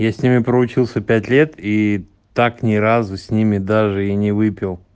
я с ними проучился пять лет и так ни разу с ними даже и не выпил